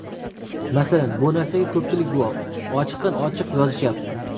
Masalan, bu narsaga ko‘pchilik guvoh, ochiqdan ochiq yozishyapti.